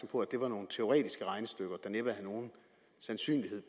på at det var nogle teoretiske regnestykker der næppe havde nogen sandsynlighed